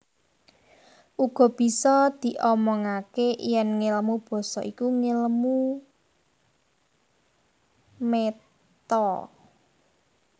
Uga bisa diomongaké yèn ngèlmu basa iku ngèlmu méta